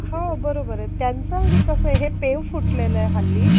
हो बरोबर आहे. त्यांच आणि कसं आहे. हे पेव फुटलेल आहे हल्ली,